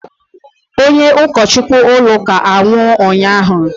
onye ụkọchukwu ụlọ ụka anwụ ụnyahụ